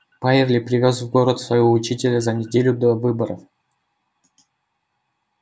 байерли привёз в город своего учителя за неделю до выборов